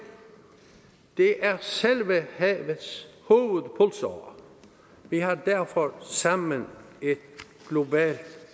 det er selve havets hovedpulsåre vi har derfor sammen et globalt